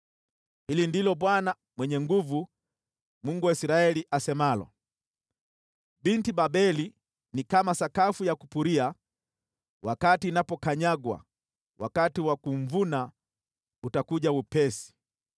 Hili ndilo Bwana Mwenye Nguvu Zote, Mungu wa Israeli, asemalo: “Binti Babeli ni kama sakafu ya kupuria wakati inapokanyagwa; wakati wa kumvuna utakuja upesi.”